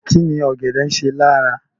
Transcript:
Kíni ọ̀gẹ̀dẹ̀ ń ṣe lára?